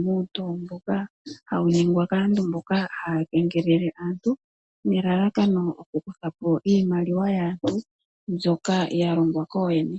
muulingilingi mboka hawu ningwa kaantu mboka haya kengelele aantu, nelalakano lyokukutha po iimaliwa yaantu mbyoka ya longwa kooyene.